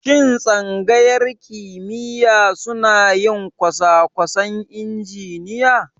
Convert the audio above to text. Shin Tsangayar kimiyya suna yin kosakwasan injiniya?